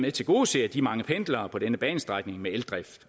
at tilgodese de mange pendlere på denne banestrækning med eldrift